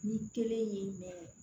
Ni kelen ye mɛ